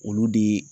Olu de